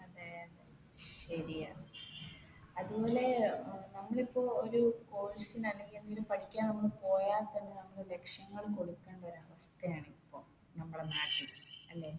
അതെ അതെ ശരിയാണ് അതുപോലെ ഏർ നമ്മളിപ്പോ ഒരു course ന് അല്ലെങ്കി എന്തെലും പഠിക്കാൻ നമ്മൾ പോയാൽ തന്നെ നമ്മൾ ലക്ഷങ്ങൾ കൊടുക്കണ്ടൊരു അവസ്ഥയാണ് ഇപ്പൊ നമ്മളെ നാട്ടിൽ അല്ലെ